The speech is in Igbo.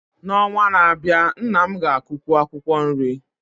N’ọnwa na-abịa, nna m ga-akụkwu akwụkwọ nri